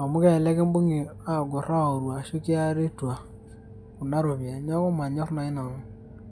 Amu elelek kibung'i agor aoru ashu kiari tua. Kuna ropiyaiani. Neeku manyor nai nanu.